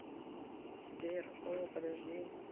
сбер о подожди